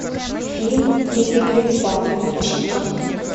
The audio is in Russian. фильм три беглеца включи ка